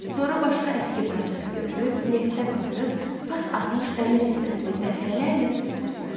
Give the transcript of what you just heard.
Sonra başqa əski parçası götürüb, neftə batırıb, pas atmış dəmir hissəsini dəfələrlə sürtüb sildi.